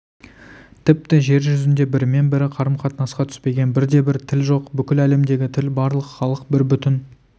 тіпті жер жүзінде бірімен бірі қарым-қатынасқа түспеген бірде-бір тіл жоқ бүкіл әлемдегі тіл барлық халық бір бүтін